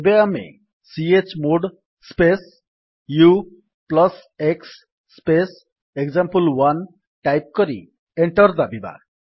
ଏବେ ଆମେ chmod space ux space example one type କରି ଏଣ୍ଟର୍ ଦାବିବା